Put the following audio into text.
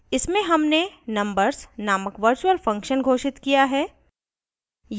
इसमें हमने numbers named virtual function घोषित किया है